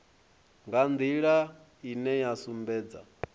nga nḓila ine ya sumbedza